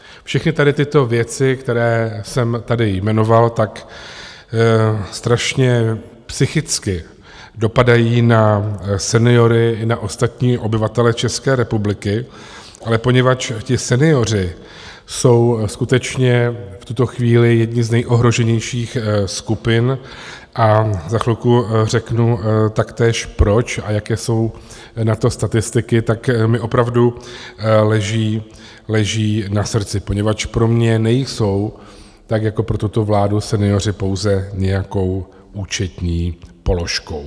Všechny tady tyto věci, které jsem tady jmenoval, tak strašně psychicky dopadají na seniory i na ostatní obyvatele České republiky, ale poněvadž ti senioři jsou skutečně v tuto chvíli jedny z nejohroženějších skupin, a za chvilku řeknu taktéž, proč a jaké jsou na to statistiky, tak mi opravdu leží na srdci, poněvadž pro mě nejsou tak jako pro tuto vládu senioři pouze nějakou účetní položkou.